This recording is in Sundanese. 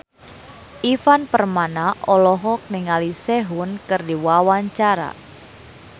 Ivan Permana olohok ningali Sehun keur diwawancara